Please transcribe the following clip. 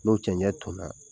N'o cɛɲɛ tonna